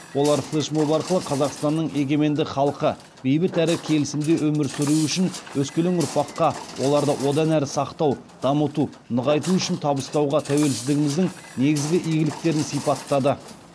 олар флешмоб арқылы қазақстанның егеменді халқы бейбіт әрі келісімде өмір сүруі үшін өскелең ұрпаққа оларды одан әрі сақтау дамыту нығайту үшін табыстауға тәуелсіздігіміздің негізгі игіліктерін сипаттады